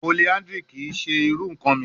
Polyandry kii ṣe iru nkan mi